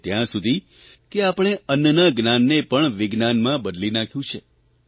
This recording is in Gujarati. તે ત્યાં સુધી કે પણે અન્નના જ્ઞાનને પણ વિજ્ઞાનમાં બદલી નાંખ્યું છે